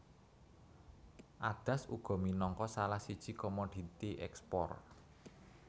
Adas uga minangka salah siji komoditi ekspor